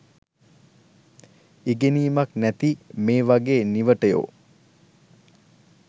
ඉගෙනීමක් නැති මේ වගේ නිවටයො